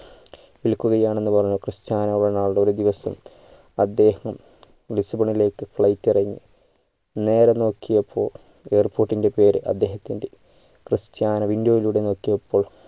വിൽക്കുകയാണ് എന്ന് പറഞ്ഞ് Cristiano Ronaldo ഒരു ദിവസം അദ്ദേഹം ലിസ്ബണിലേക്ക് flight ഇറങ്ങി നേരെ നോക്കിയപ്പോൾ airport ൻ്റെ പേര് അദ്ദേഹത്തിൻ്റെ ക്രിസ്റ്റ്യാനോ window യിലൂടെ നോക്കിയപ്പോൾ